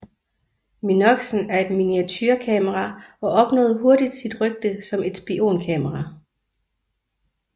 Minoxen er et miniaturekamera og opnåede hurtigt sit rygte som et spionkamera